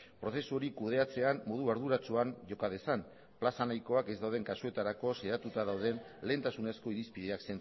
prozesu hori kudeatzean modu arduratsuan joka dezan plaza nahikoak ez dauden kasuetarako zehatuta dauden lehentasunezko irizpideak